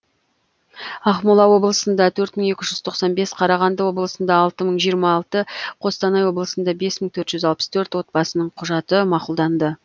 ақмола облысында төрт мың екі жүз тоқсан бес қарағанды облысында алты мың жиырма алты қостанай облысында бес мың төрт жүз алпыс төрт отбасының құжаты мақұлданды